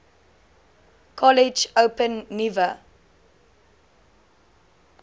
kollege open nuwe